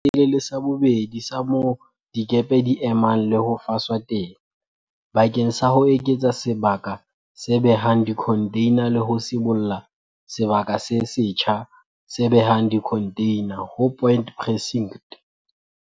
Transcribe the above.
Sekgutlo sa pele le sa bobedi sa moo dikepe di emang le ho faswa teng bakeng sa ho eketsa sebaka se behang dikhontheina le ho sibolla sebaka se setjha se behang dikhontheina ho Point Precinct.